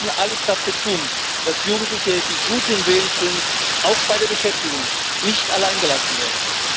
Wir müssen alles dafür tun, dass Jugendliche, die guten Willens sind, auch bei der Beschäftigung nicht alleingelassen werden.